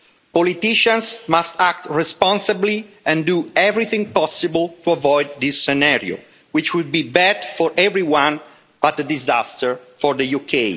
Politicians must act responsibly and do everything possible to avoid this scenario, which would be bad for everyone but a disaster for the UK.